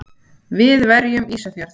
Við verjum Ísafjörð!